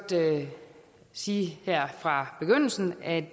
sige her fra begyndelsen at